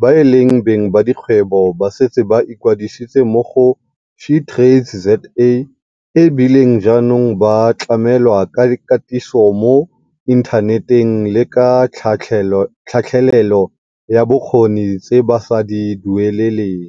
ba e leng beng ba dikgwebo ba setse ba ikwadisitse mo go SheTradesZA e bile jaanong ba tlamelwa ka katiso mo inthaneteng le ka tlhatlhelelo ya bokgoni tse ba sa di dueleleng.